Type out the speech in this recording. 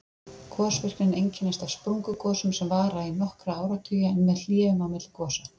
Gosvirknin einkennist af sprungugosum sem vara í nokkra áratugi, en með hléum á milli gosa.